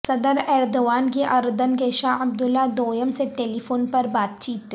صدر ایردوان کی اردن کے شاہ عبداللہ دوئم سے ٹیلیفون پر بات چیت